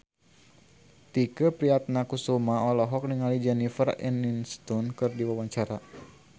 Tike Priatnakusuma olohok ningali Jennifer Aniston keur diwawancara